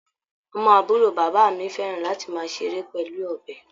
Ọmọ àbúrò bàbá mi fẹ́ràn láti máa ṣeré pẹ̀lú ọ̀bẹ.